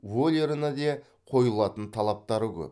вольеріне де қойылатын талаптары көп